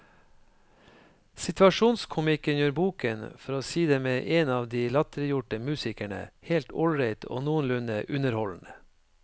Situasjonskomikken gjør boken, for å si det med en av de latterliggjorte musikerne, helt ålreit og noenlunde underholdende.